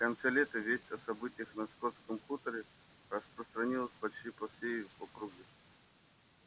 в конце лета весть о событиях на скотском хуторе распространилась почти по всей округе